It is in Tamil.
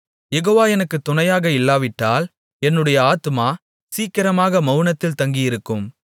யெகோவா எனக்குத் துணையாக இல்லாவிட்டால் என்னுடைய ஆத்துமா சீக்கிரமாக மவுனத்தில் தங்கியிருக்கும்